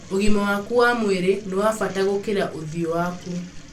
Ũgima waku wa mwĩrĩ nĩ wa bata gũkĩra ũthio waku.